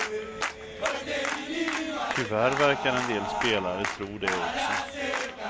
Tyvärr verkar en del spelare tro det också.